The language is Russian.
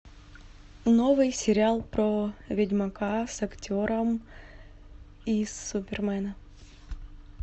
новый сериал про ведьмака с актером из супермена